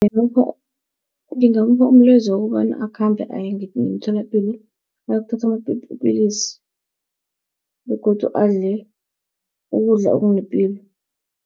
ngingamupha umlayezo wokobana, akhambe aye ngemtholapilo ayokuthatha amapilisi begodu adle ukudla okunepilo.